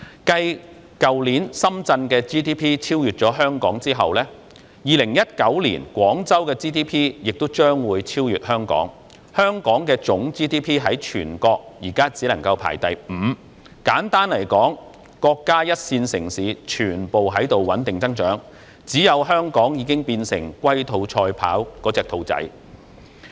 繼去年深圳的 GDP 超越香港後 ，2019 年廣州的 GDP 亦將會超越香港，香港的總 GDP 在全國現在只排第五，簡單來說，國家一線城市全部均在穩定增長，只有香港已經變成龜兔賽跑中的兔子。